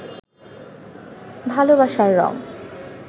ভালোবাসার রঙ